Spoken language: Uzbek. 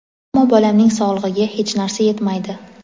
ammo bolamning sog‘ligiga hech narsa yetmaydi.